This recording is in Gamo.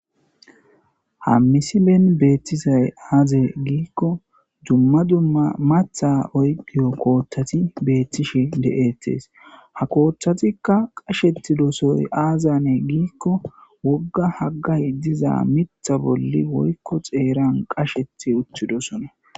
Ha misibeen beettisay aaze giikko dumma dumma matha oykiyo kooththati beettishi de7ettees ha kooththatikka qasheti dosoy aazane giikko wogga haggay diza mitha bolli woykko xeeran qashethi uttidosona.